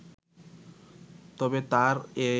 তবে তার এ